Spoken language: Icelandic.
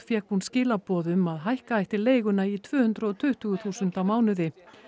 fékk hún skilaboð um að hækka ætti leiguna í tvö hundruð og tuttugu þúsund á mánuði